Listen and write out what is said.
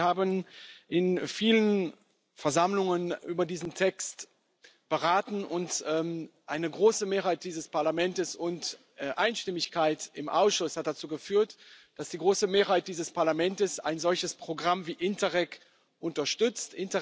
Wir haben in vielen Versammlungen über diesen Text beraten, und eine große Mehrheit dieses Parlaments und Einstimmigkeit im Ausschuss haben dazu geführt, dass die große Mehrheit dieses Parlaments ein solches Programm wie Interreg unterstützt.